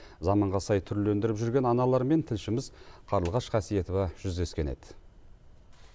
заманға сай түрлендіріп жүрген аналармен тілшіміз қарлығаш қасиетова жүздескен еді